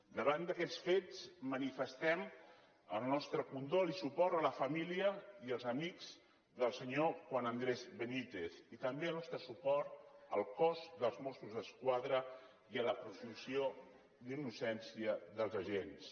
davant d’aquests fets manifestem el nostre condol i suport a la família i els amics del senyor juan andrés benítez i també el nostre suport al cos dels mossos d’esquadra i a la presumpció d’innocència dels agents